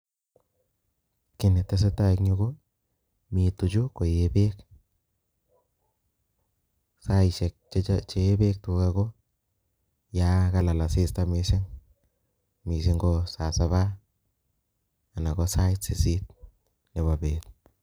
Ki netesetai en yu komi tuka koee bek ako saishek chee bek ko sait agenge anan ko sait sisit Nebo bet